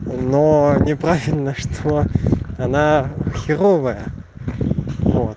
но неправильно что она херовая вот